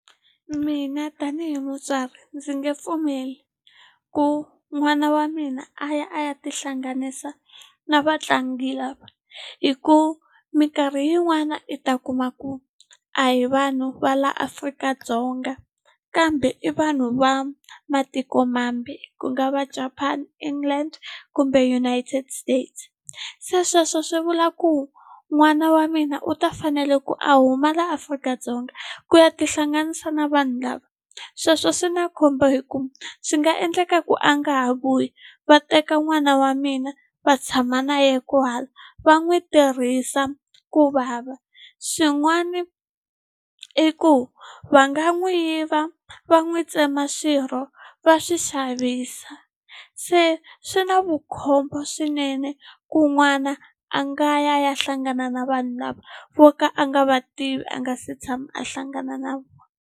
Mina tanihi mutswari ndzi nge pfumeli ku n'wana wa mina a ya a ya tihlanganisa na vatlangi lava hi ku minkarhi yin'wana i ta kuma ku a hi vanhu va la Afrika-Dzonga kambe i vanhu va matikomambe ku nga va Japan, England kumbe United States se sweswo swi vula ku n'wana wa mina u ta fanele ku a huma laha Afrika-Dzonga ku ya tihlanganisa na vanhu lava sweswo swi na khombo hi ku swi nga endleka ku a nga ha vuyi va teka n'wana wa mina va tshama na yena kwahala va n'wi tirhisa ku vava swin'wana i ku va nga n'wi yiva va n'wi tsema swirho va swi xavisa se swi na vukhombo swinene ku n'wana a nga ya ya hlangana na vanhu lava vo ka a nga va tivi a nga se tshama a hlangana na vona.